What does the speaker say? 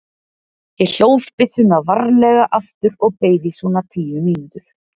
Ég hlóð byssuna varlega aftur og beið í svona tíu mínútur.